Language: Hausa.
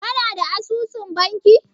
Ka na da asusun banki?